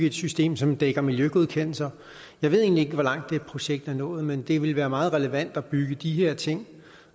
et system som dækker miljøgodkendelser jeg ved egentlig ikke hvor langt det projekt er nået men det ville være meget relevant at bygge de her ting